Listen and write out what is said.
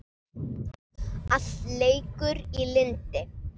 Allt leikur í lyndi.